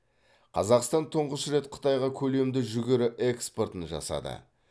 қазақстан тұңғыш рет қытайға көлемді жүгері экспортын жасады